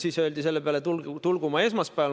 Siis öeldi selle peale, et tulgu ma esmaspäeval.